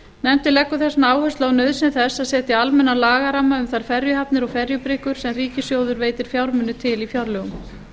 nefndin leggur þess vegna áherslu á nauðsyn þess að setja almennan lagaramma um þær ferjuhafnir og ferjubryggjur sem ríkissjóður veitir fjármuni til í fjárlögum